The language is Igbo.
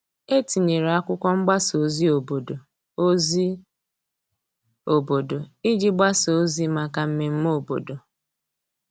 E tinyere akwụkwo mgbasa ozi obodo ozi obodo iji gbasa ozi maka mmeme obodo.